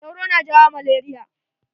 Soro na jawo malaria.